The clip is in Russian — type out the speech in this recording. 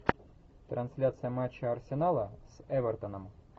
трансляция матча арсенала с эвертоном